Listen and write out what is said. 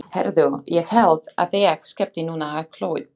Heyrðu, ég held að ég skreppi núna á klóið.